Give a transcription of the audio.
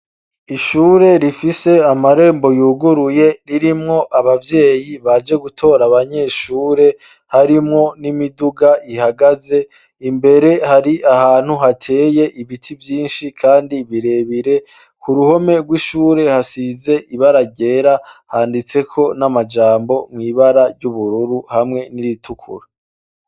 Ishure rifise amarembo yuguruye ririmwo abavyeyi baje gutora abanyeshure harimwo n'imiduga ihagaze imbere hari ahantu hateye ibiti vyinshi, kandi birebire ku ruhome rw'ishure hasize ibararyera handitseko n'amajambo mwibara ry'ubururu hamwe n'iritukura.